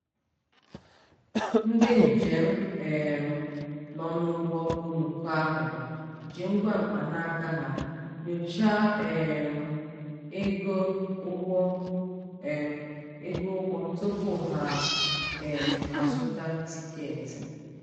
ndị njem um nọ n'ụgbọ oloko ahụ ji ngwa mkpanaka ha nyochaa um ego ụgbọ um ego ụgbọ tupu ha um azụta tikeeti.